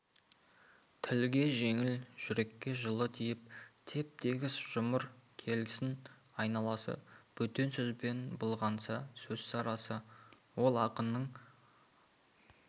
тілге жеңіл жүрекке жылы тиіп теп-тегіс жұмыр келсін айналасы бөтен сөзбен былғанса сөз сарасы ол ақынның